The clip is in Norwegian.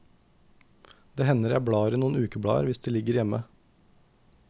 Det hender jeg blar i noen ukeblader hvis de ligger hjemme.